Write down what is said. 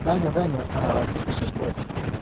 даня даня а запишешь войс